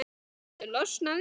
Viltu losna við-?